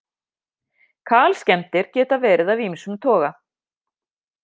Kalskemmdir geta verið af ýmsum toga.